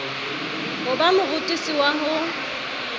ho ba morutisi wa ho